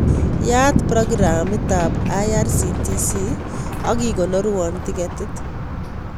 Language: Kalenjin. Yaat programit ab irctc ak ikonorwon tiketit